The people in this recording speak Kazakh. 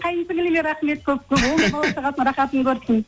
қайын сіңліліме рахмет көп көп ол да бала шағасының рахатын көрсін